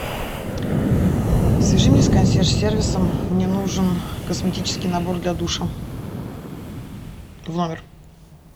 свяжи меня с консьерж сервисом мне нужен косметический набор для душа в номер